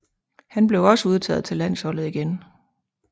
Han blev også udtaget til landsholdet igen